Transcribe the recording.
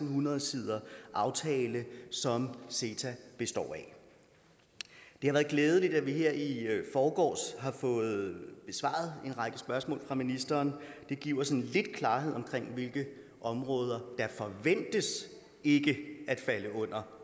hundrede siders aftale som ceta består af det har været glædeligt at vi her i forgårs har fået besvaret en række spørgsmål fra ministeren det giver sådan lidt klarhed om hvilke områder der forventes ikke at falde under